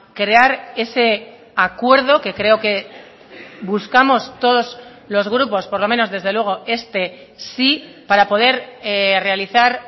crear ese acuerdo que creo que buscamos todos los grupos por lo menos desde luego este sí para poder realizar